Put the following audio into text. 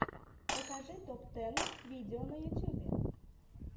покажи топ тэн видео на ютюбе